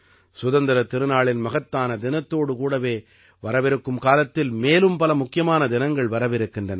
சுதந்திரத் திருநாளின் மகத்தான தினத்தோடு கூடவே வரவிருக்கும் காலத்தில் மேலும் பல முக்கியமான தினங்கள் வரவிருக்கின்றன